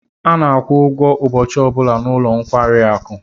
A na-akwụ ụgwọ ụbọchị ọ bụla n'ụlọ nkwari akụ.